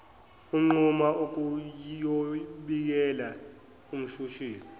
unquma ukuyobikela umshushisi